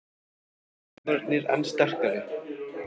Hjálmarnir enn sterkari